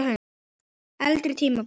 Eldri tímabil